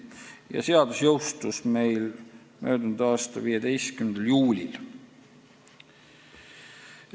See seadus jõustus meil mullu 15. juulil.